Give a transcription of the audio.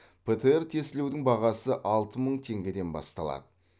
птр тестілеудің бағасы алты мың теңгеден басталады